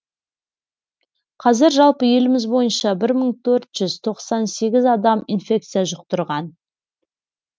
қазір жалпы еліміз бойынша бір мың төрт жүз тоқсан сегіз адам инфекция жұқтырған